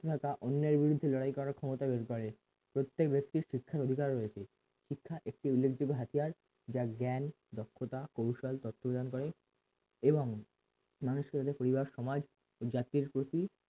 অন্যায়ের বিরুদ্ধে লড়াই করার ক্ষমতা বাড়ে প্রত্যেক ব্যক্তির শিক্ষার অধিকার রয়েছে শিক্ষা একটি উল্লেখযোগ্য হাতিয়ার যা জ্ঞান দক্ষতা কৌশল তত্ত্ব প্রদান করে এবং মানুষকে যাতে পরিবার সমাজ জাতির প্রতি